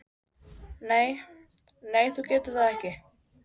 Nei, nei þú getur það ekki.